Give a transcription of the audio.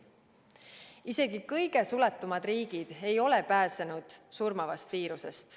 Isegi kõige suletumad riigid ei ole pääsenud surmavast viirusest.